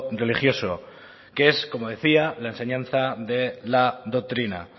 religioso que es como decía la enseñanza de la doctrina